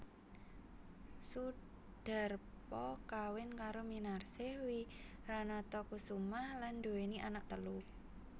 Soedarpo kawin karo Minarsih Wiranatakusumah lan duwéni anak telu